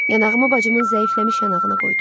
Yanağımı bacımın zəifləmiş yanağına qoydum.